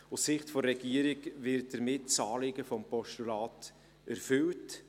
Aus Sicht der Regierung wird damit das Anliegen des Postulats erfüllt.